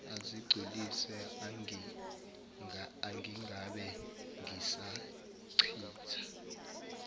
azigculise angingabe ngisachitha